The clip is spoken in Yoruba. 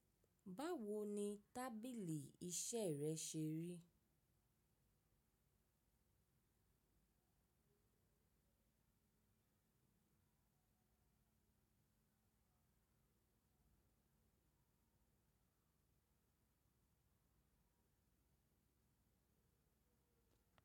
Báwo ni tábìlì iṣẹ́ rẹ ṣe rí?